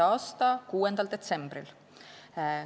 a 6. detsembril.